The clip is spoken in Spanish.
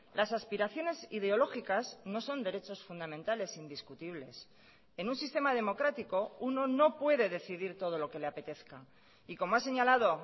las aspiraciones ideológicas no son derechos fundamentales indiscutibles en un sistema democrático uno no puede decidir todo lo que le apetezca y como ha señalado